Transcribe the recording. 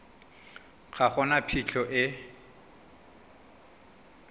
ga go na phitlho e